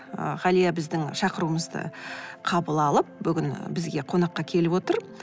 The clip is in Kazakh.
ы ғалия біздің шақыруымызды қабыл алып бүгін бізге қонаққа келіп отыр